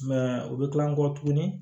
u bɛ kila kɔ tuguni